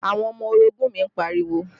Àwọn ọmọ orogun mi ń pariwo